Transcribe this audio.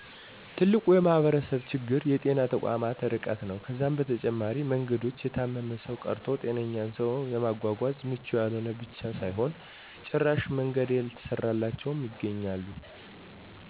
ትልቁ የማህበረሰቡ ችግር የጤና ተቋማት እርቀት ነው። ከዛም በተጨማሪ መንገዶች የታመመን ሰው ቀርቶ ጤነኛን ሰው ለማጎጎዝ ምቹ ያልሆኑ ብቻ ሳይሆን ጭራሽ መንገድ ያልተሰራላቸው ይገኛሉ።